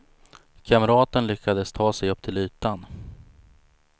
Kamraten lyckades ta sig upp till ytan.